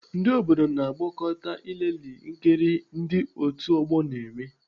Ndị obodo na-agbakọta ilelee nkiri ndị otu ọgbọ na-eme.